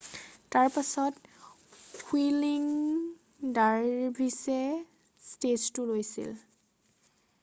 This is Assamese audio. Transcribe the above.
তাৰপাছত হুইৰ্লিং ডাৰভিৰ্ছে ষ্টেজটো লৈছিল৷